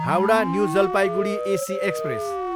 Howrah, new Jalpaiguri AC express